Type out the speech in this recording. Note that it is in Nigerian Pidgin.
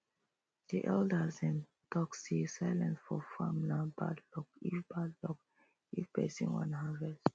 the elders dem talk say silence for farm nah bad luck if bad luck if persin wan harvest